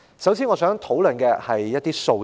首先，我想討論的是一些數字。